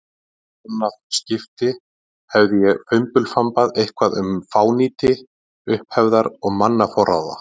annað skipti hafði ég fimbulfambað eitthvað um fánýti upphefðar og mannaforráða.